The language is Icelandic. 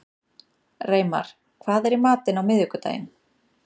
Reimar, hvað er í matinn á miðvikudaginn?